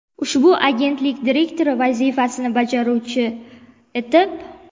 ushbu agentlik direktori vazifasini bajaruvchi etib;.